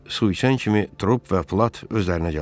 Su içən kimi Trup və Plad özlərinə gəldilər.